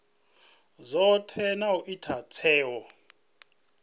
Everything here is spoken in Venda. dzothe na u ita tsheo